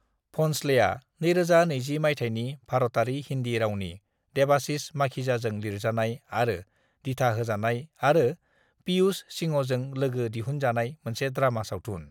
भन्सलेआ 2020 मायथायनि भारतारि हिन्दि रावनि देवाशीष माखीजाजों लिरजानाय आरो दिथा होजानाय आरो पियुष सिंहजों लोगो-दिहुन जानाय मोनसे ड्रामा सावथुन।